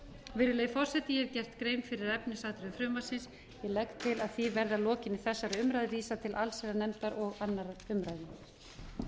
virðulegi forseti ég hef gert grein fyrir efnisatriðum frumvarpsins ég legg til að því verði að lokinni þessari umræðu vísað til allsherjarnefndar og